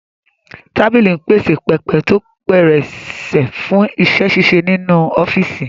Tábìlì ń pèsè pẹpẹ tó pẹrẹsẹ fún iṣẹ́-ṣíṣe nínú ọ́fíìsì